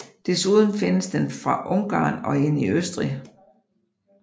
Desuden findes den fra Ungarn og ind i Østrig